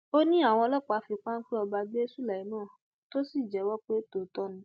ó ní àwọn ọlọpàá ni wọn fi páńpẹ ọba gbé sulaiman tó sì jẹwọ pé lóòótọ ni